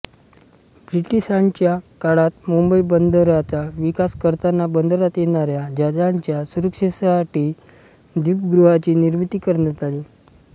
ब्रिटिशांच्या काळात मुंबई बंदराचा विकास करताना बंदरात येणाऱ्या जहाजांच्या सुरक्षितेसाठी दीपगृहांची निमिर्ती करण्यात आली